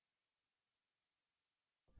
library database में